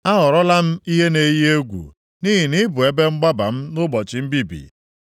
A ghọrọla m ihe na-eyi egwu, nʼihi na ị bụ ebe mgbaba m nʼụbọchị mbibi.